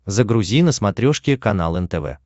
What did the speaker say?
загрузи на смотрешке канал нтв